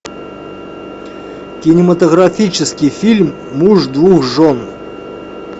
кинематографический фильм муж двух жен